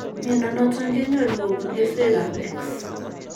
Miondo noton kenyoru kobun keswek ab X